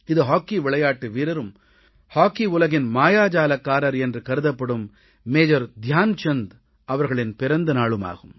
இது ஹாக்கி விளையாட்டு வீரரும் ஹாக்கி உலகின் மாயாஜாலக்காரர் என்று கருதப்படும் மேஜர் தியான் சந்த் அவர்களின் பிறந்த நாளாகும்